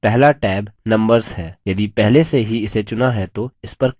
पहला tab numbers है यदि पहले से ही इसे चुना है तो इस पर click करें